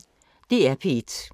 DR P1